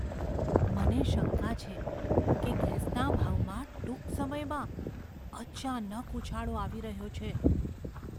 મને શંકા છે કે ગેસના ભાવમાં ટૂંક સમયમાં અચાનક ઉછાળો આવી રહ્યો છે.